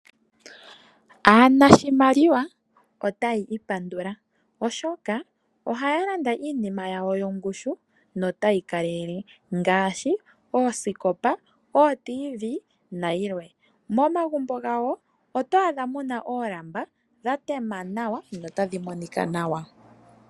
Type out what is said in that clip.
Aanashimaliwa otaya ipandula, oshoka ohaya landa iinima yawo yongushu notayi kalele ngaashi: oosikopa, ootiivii nayilwe. Momagumbo gawo oto adha mu na oolamba dha tema nawa notadhi monika nawa.